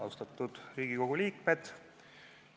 Austatud Riigikogu liikmed!